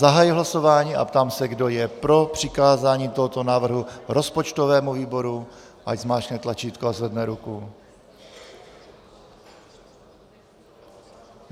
Zahajuji hlasování a ptám se, kdo je pro přikázání tohoto návrhu rozpočtovému výboru, ať zmáčkne tlačítko a zvedne ruku.